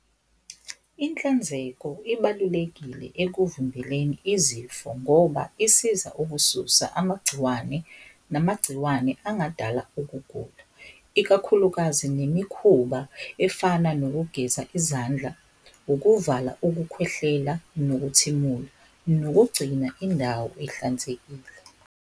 Inhlanzeko ibalulekile ekuvimbeleni izifo ngoba isiza ukususa amagciwane, namagciwane angadala ukugula. Ikakhulukazi nemikhuba efana nokugeza izandla, ukuvala ukukhwehlela, nokuthimula, nokugcina indawo ihlanzekile.